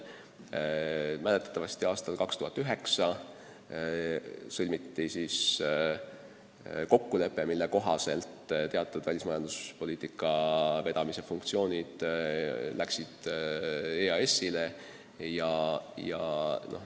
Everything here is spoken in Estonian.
Mäletatavasti sõlmiti aastal 2009 kokkulepe, mille kohaselt teatud välismajanduspoliitika vedamise funktsioonid läksid üle EAS-ile.